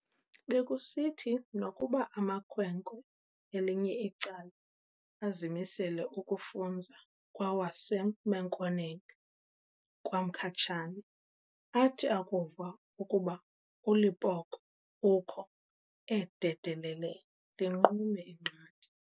Bekusithi nokuba amakhwenkwe elinye icala azimisele ukufunza kwawaseMenkhoeneng kwaMkhatshane, athi akuva ukuba uLepoqo ukho, ee dedelele, linqume inqathe.